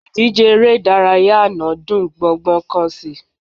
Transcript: Ìdíje eré ìdárayá àná dùn gbọ́ngbọ́n kán sí i